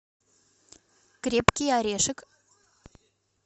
крепкий орешек